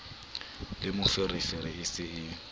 le moferefere e se e